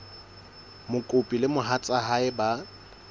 mokopi le mohatsa hae ba